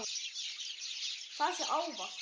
Það sé áfall.